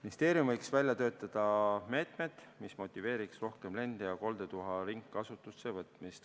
Ministeerium võiks välja töötada meetmed, mis motiveeriks rohkem lend- ja koldetuhka ringkasutusse võtma.